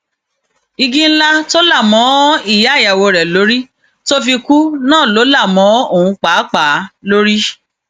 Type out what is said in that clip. igi ńlá tó là um mọ ìyá ìyàwó rẹ lórí tó fi um kú náà ló là mọ òun pàápàá lórí